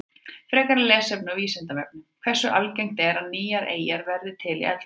Frekara lesefni á Vísindavefnum: Hversu algengt er að nýjar eyjar verði til í eldgosum?